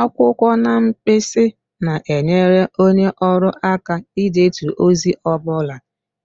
Akwụkwọ na mkpịsị na-enyere onye ọrụ aka idetu ozi ọ bụla